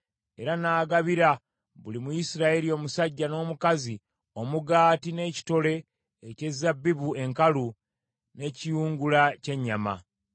era n’agabira buli Muyisirayiri omusajja n’omukazi, omugaati n’ekitole eky’ezabbibu enkalu, n’ekiyungula ky’ennyama.